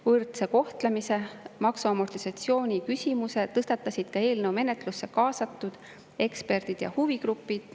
Võrdse kohtlemise ja maksu amortisatsiooni küsimuse tõstatasid ka eelnõu menetlusse kaasatud eksperdid ja huvigrupid.